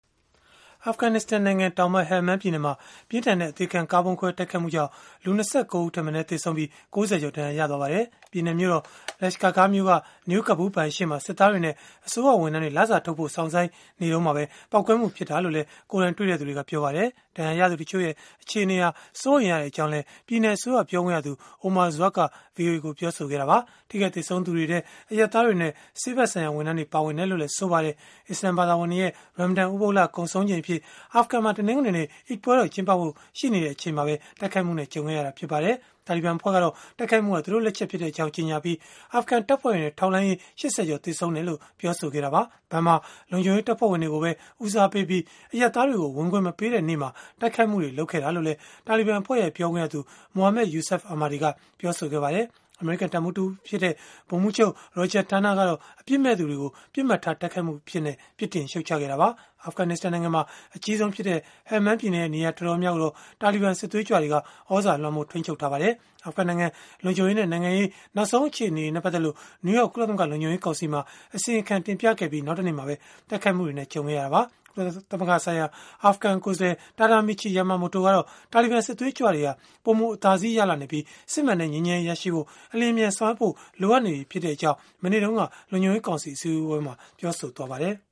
အာဖဂနစ္စတန်နိုင်ငံတောင်ပိုင်း Helmand ပြည်နယ်မှာ ပြင်းထန်တဲ့ အသေခံကားဗုံးခွဲ တိုက်ခိုက်မှုကြောင့် လူ ၂၉ ဦးထက်မနည်း သေဆုံးပြီး၊ ၆၀ ကျော် ဒဏ်ရာရရှိသွားပါတယ်။ ပြည်နယ်မြို့တော် Lashkargah မြို့က New Kabul ဘဏ်ရှေ့မှာ စစ်သားတွေနဲ့ အစိုးရဝန်ထမ်းတွေ လစာထုတ်ဖို့ စောင့်ဆိုင်းနေတုန်းမှာပဲ ပေါက်ကွဲမှုဖြစ်ပွားခဲ့တာလို့လည်း ကိုယ်တိုင်တွေ့သူတွေက ပြောပါတယ်။ ဒဏ်ရာရသူတချို့ရဲ့ အခြေအနေဟာ စိုးရိမ်ရတယ်လို့လည်း ပြည်နယ်အစိုးရ ပြောခွင့်ရသူ Omar Zwak က ဗွီအိုအေကို ပြောပါတယ်။ ထိခိုက်သေဆုံးသူတွေထဲ အရပ်သားတွေနဲ့ စစ်ဖက်ဆိုင်ရာ ဝန်ထမ်းတွေ ပါဝင်ကြောင်းလည်း ပြောဆိုခဲ့တာပါ။ အစ္စလာမ်ဘာသာဝင်တွေရဲ့ Ramadan ဥပုသ်လ ကုန်ဆုံးချိန်အဖြစ် အာဖဂန်မှာ တနင်္ဂနွေနေ့ အိဒ်ပွဲတော် ကျင်းပဖို့ ရှိနေချိန်မှာပဲ တိုက်ခိုက်မှုနဲ့ ကြုံခဲ့ရတာလည်း ဖြစ်ပါတယ်။ တာလီဘန် အဖွဲ့ကတော့ တိုက်ခိုက်မှုဟာ သူတို့လက်ချက်ဖြစ်ကြောင်း ကြေညာခဲ့ပြီး၊ အာဖဂန်တပ်ဖွဲ့တွေနဲ့ ထောက်လှမ်းရေး ၈၀ ကျော် သေဆုံးခဲ့တယ်လို့လည်း ပြောဆိုခဲ့တာပါ။ ဘဏ်မှာ လုံခြုံရေးတပ်ဖွဲ့ဝင်တွေကိုပဲ ဦးစားပေးပြီး အရပ်သားတွေကို ဝင်ခွင့်မပေးတဲ့နေ့မှာ တိုက်ခိုက်မှု လုပ်ခဲ့တာလို့လည်း တာလီဘန်အဖွဲ့ရဲ့ ပြောခွင့်ရသူ Mohammad Yousaf Ahmadi က ပြောဆိုခဲ့ပါတယ်။ အမေရိကန် တပ်မှူးတဦးဖြစ်တဲ့ ဗိုလ်မှူးချုပ် Roger Turner ကတော့ အပြစ်မဲ့သူတွေကို ပစ်မှတ်ထား တိုက်ခိုက်မှုအဖြစ် ပြစ်တင်ရှုတ်ချခဲ့တာပါ။ အာဖဂနစ္စတန်နိုင်ငံမှာ အကြီးဆုံးဖြစ်တဲ့ Helmand ပြည်နယ်ရဲ့ နေရာတော်တော်များများကိုတော့ တာလီဘန်စစ်သွေးကြွတွေက သြဇာလွှမ်းမိုး ထိန်းချုပ်ထားတာ ဖြစ်ပါတယ်။ အာဖဂန်နိုင်ငံ လုံခြုံရေးနဲ့ နိုင်ငံရေး နောက်ဆုံး အခြေအနေတွေနဲ့ ပတ်သက်လို့ နယူးယောက် ကုလသမဂ္ဂ လုံခြုံရေးကောင်စီမှာ အစီရင်ခံ တင်ပြခဲ့ပြီး နောက်တနေ့မှာပဲ တိုက်ခိုက်မှုနဲ့ ကြုံခဲ့ရတာပါ။ ကုလသမဂ္ဂဆိုင်ရာ အာဖဂန်ကိုယ်စားလှယ် Tadamichi Yamamoto ကတော့ တာလီဘန် စစ်သွေးကြွတွေဟာ ပိုမိုအသာစီးရလာနေပြီး၊ စစ်မှန်တဲ့ ငြိမ်းချမ်းရေး ရရှိဖို့ အလျှင်အမြန် ဆောင်ရွက်ဖို့ လိုအပ်နေပြီ ဖြစ်ကြောင်း မနေ့တုန်းက လုံခြုံရေးကောင်စီ အစည်းအဝေးမှာ ပြောဆိုခဲ့ပါတယ်။